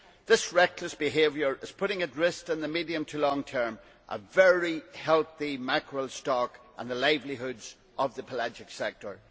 This reckless behaviour is putting at risk in the medium to long term a very healthy mackerel stock and the livelihoods of the pelagic sector.